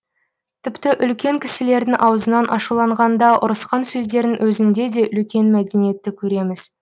тіпті үлкен кісілердің аузынан ашуланғанда ұрысқан сөздерінің өзінде де үлкен мәдениетті көреміз